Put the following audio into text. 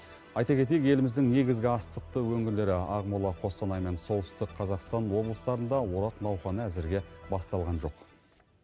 айта кетейік еліміздің негізгі астықты өңірлері ақмола қостанай мен солтүстік қазақстан облыстарында орақ науқаны әзірге басталған жоқ